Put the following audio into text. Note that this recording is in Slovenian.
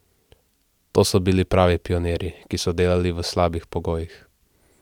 To so bili pravi pionirji, ki so delali v slabih pogojih.